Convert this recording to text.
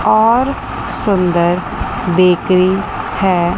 और सुंदर बेकरी है।